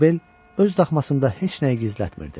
Qozbel öz daxmasında heç nəyi gizlətmirdi.